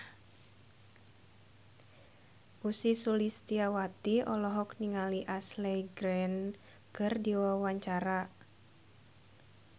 Ussy Sulistyawati olohok ningali Ashley Greene keur diwawancara